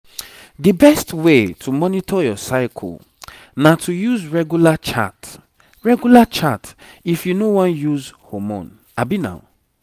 the best way to monitor your cycle na to use regular chart regular chart if you no wan use hormone